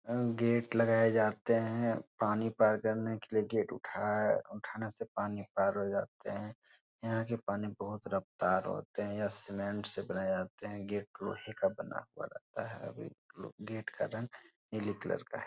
अ gate लगाए जाते हैं। पानी पार करने के लिए गेट उठाए उठाने से पानी पार हो जाते हैं। यहाँ के पानी बहुत रफ़्तार होते हैं। ये सीमेंट से बनाए जाते हैं। गेट लोहे का बना हुआ रहता है। ये गेट का रंग नील कलर का है।